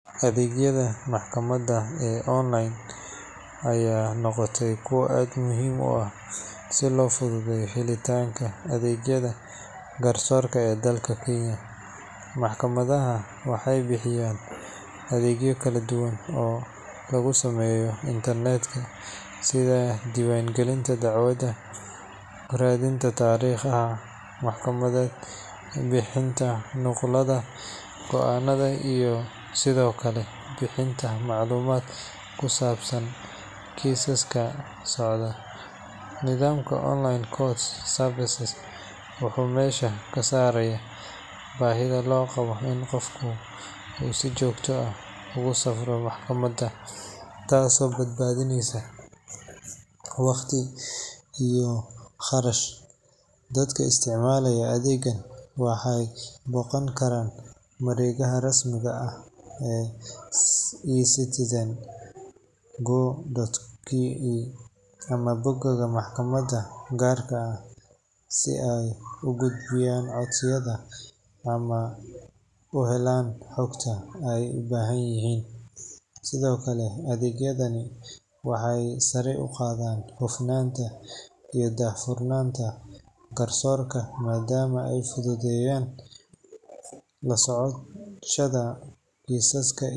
Adhegyaada maxkamaada ee online aya noqote miid si lo fududeyo garsorka, maxkamadaha waxee bixiyan adhegyo kala duwan lagu sameyo Internet diwan galista radinta tariqta sithokale bixinta maclumadka, tas oo bad badineysa waqti iyo qarash waxee isticmalayin adhega boqan kara adhegyaada rasmiga ah ee e citizen boga maxkamaada ugarka ah si ee u gudbiayan madama ee fududeyan lasocoshaada kisaska.